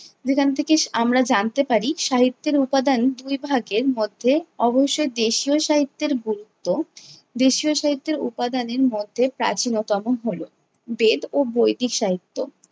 যেখান থেকে আমরা জানতে পারি সাহিত্যের উপাদান দুই ভাগের মধ্যে অবশ্যই দেশীয় সাহিত্যের গুরুত্ব, দেশীয় সাহিত্যের উপাদানের মধ্যে প্রাচীনতম হলো- বেদ ও বৈদিক সাহিত্য।